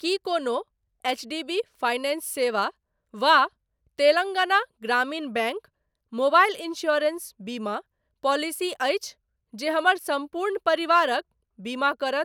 की कोनो HDB finance सेवा वा तेलंगाना ग्रामीण बैंक मोबाइल इन्स्योरेन्स बीमा पॉलिसी अछि जे हमर सम्पूर्ण परिवारक बीमा करत?